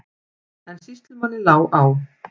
En sýslumanni lá á.